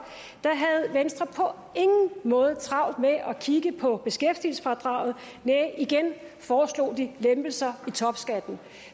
havde venstre ingen måde travlt med at kigge på beskæftigelsesfradraget næh igen foreslog de lempelser i topskatten